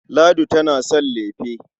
Ladi tana son lefe.